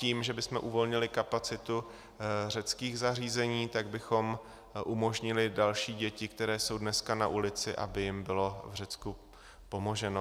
Tím, že bychom uvolnili kapacitu řeckých zařízení, tak bychom umožnili dalším dětem, které jsou dneska na ulici, aby jim bylo v Řecku pomoženo.